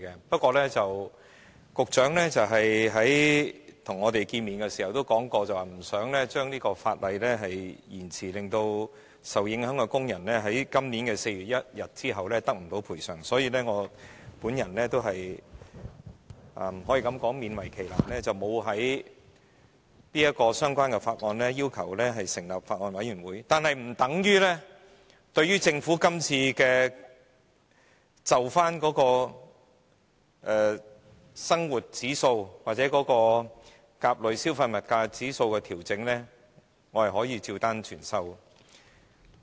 不過，局長在與我們會面時也說過，不想把這項法例延遲實施，令受影響的工人在今年4月1日後得不到賠償，所以我是勉為其難，沒有就相關法案要求成立法案委員會，但這並不等於我對政府今次就生活指數或甲類消費物價指數的調整照單全收。